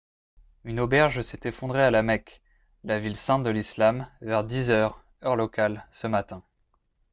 une auberge s'est effondrée à la mecque la ville sainte de l'islam vers 10 heures heure locale ce matin